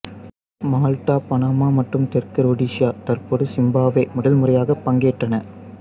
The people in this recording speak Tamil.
மால்ட்டா பனாமா மற்றும் தெற்கு ரொடீசியா தற்போது சிம்பாப்வே முதல்முறையாகப் பங்கேற்றன